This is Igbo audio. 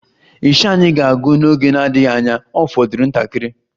Isha anyị ga-agwụ n'oge na-adịghị anya,Ọ fọdụrụ ntakịrị